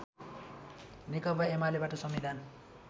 नेकपा एमालेबाट संविधान